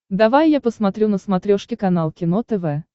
давай я посмотрю на смотрешке канал кино тв